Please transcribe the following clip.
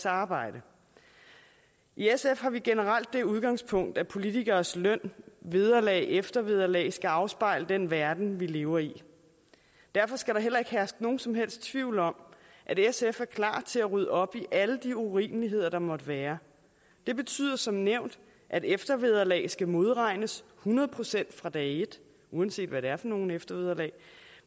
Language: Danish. arbejde i sf har vi generelt det udgangspunkt at politikeres løn vederlag eftervederlag skal afspejle den verden vi lever i derfor skal der heller ikke herske nogen som helst tvivl om at sf er klar til at rydde op i alle de urimeligheder der måtte være det betyder som nævnt at eftervederlag skal modregnes hundrede procent fra dag et uanset hvad det er for nogle eftervederlag